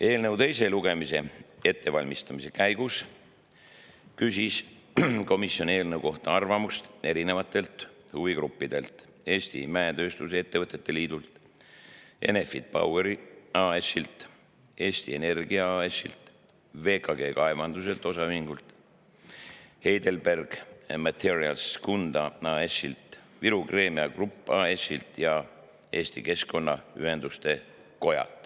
Eelnõu teise lugemise ettevalmistamise käigus küsis komisjon eelnõu kohta arvamust järgmistelt huvigruppidelt: Eesti Mäetööstuse Ettevõtete Liit, Enefit Power AS, Eesti Energia AS, VKG Kaevandused OÜ, Heidelberg Materials Kunda AS, Viru Keemia Grupp AS ja Eesti Keskkonnaühenduste Koda.